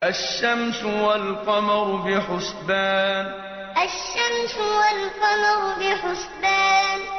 الشَّمْسُ وَالْقَمَرُ بِحُسْبَانٍ الشَّمْسُ وَالْقَمَرُ بِحُسْبَانٍ